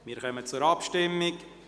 Wir kommen zur Abstimmung.